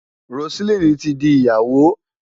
Roseline ti di Ìyàwó.